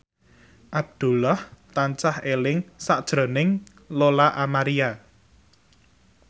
Abdullah tansah eling sakjroning Lola Amaria